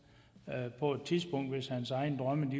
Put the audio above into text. af på et tidspunkt hvis hans egne drømme